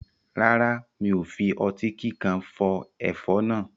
Rárá, mi ò fi ọtí kíkan fọ ẹ̀fọ́ náà.